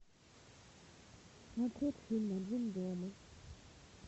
смотреть фильм один дома